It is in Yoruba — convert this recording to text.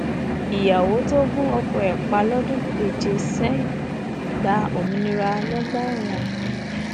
ìyàwó tó gun ọkọ ẹ pa lọdún keje sẹyìn gba òmìnira lọgbà ẹwọn